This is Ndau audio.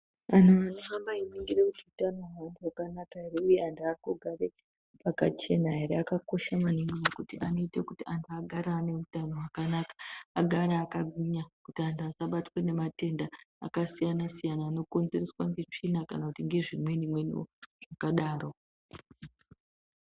Vantu vanohamba veiningira kuti utano hwevantu hwakanaka ere uye antu ari kugare pakachena ere akakosha maningi ngekuti anoite kuti antu agare ane utano hwakanaka, agare akagwinya kuti antu asabatwe ngematenda akasiyana siyana anokonzereswa ngetsvina kana kuti nezvimweni mweniwo zvakadaro.